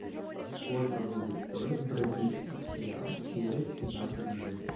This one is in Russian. сколько будет стоить бразильский реал через семнадцать дней